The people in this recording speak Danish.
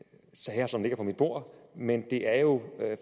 sager som ligger på mit bord men det er jo